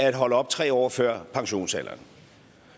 at holde op tre år før pensionsalderen